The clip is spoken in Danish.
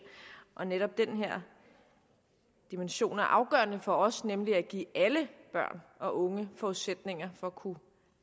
netop den her dimension er afgørende for os nemlig at give alle børn og unge forudsætninger for at kunne